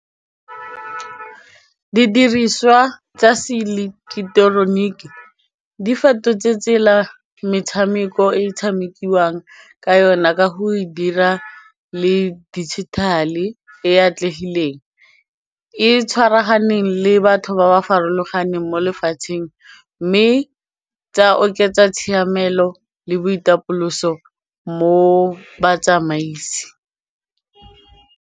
Didiriswa tsa se eleketoroniki di fetotse tsela metshameko e tshamekiwang ka yona ka go e dira le digital-e e atlegileng e tshwaraganeng le batho ba ba farologaneng mo lefatsheng mme tsa oketsa tshiamelo le boitapoloso mo batsamaisi.